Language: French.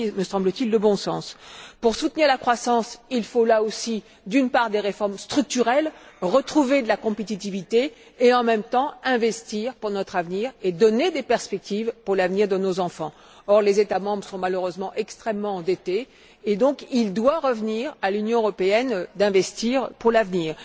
C'est là, me semble t il, une question de bon sens. Pour soutenir la croissance, il faut, là aussi, d'une part, des réformes structurelles, retrouver de la compétitivité et, en même temps, investir pour notre avenir et donner des perspectives pour l'avenir de nos enfants. Or, les États membres sont malheureusement extrêmement endettés, et c'est donc à l'Union européenne qu'il revient d'investir pour l'avenir.